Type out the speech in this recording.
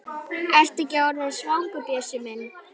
Ertu ekki orðinn svangur, Bjössi minn?